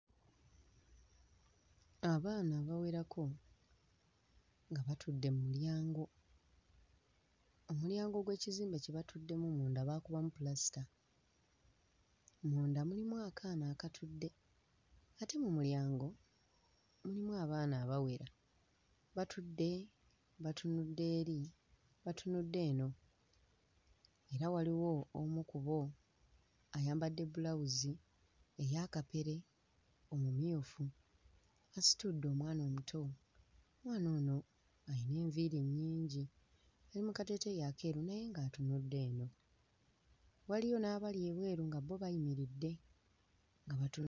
Abaana abawerako nga batudde mu mulyango, omulyango gw'ekizimbe kye batuddemu munda baakubamu pulasita. Munda mulimu akaana akatudde ate mu mulyango mulimu abaana abawera. Batudde batunudde eri batunudde eno era waliwo omu ku bo ayambadde bulawuzi eya kapere omumyufu asitudde omwana omuto, omwana ono ayina enviiri nnyingi, ali mu kateeteeyi akeeru naye ng'atunudde eno, waliyo n'abali ebweru nga bo bayimiridde nga batu....